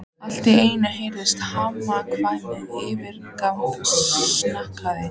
Allt í einu heyrðist harmakvein yfirgnæfa snarkið.